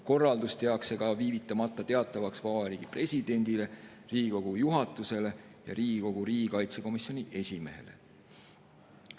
Korraldus tehakse viivitamata teatavaks Vabariigi Presidendile, Riigikogu juhatusele ja Riigikogu riigikaitsekomisjoni esimehele.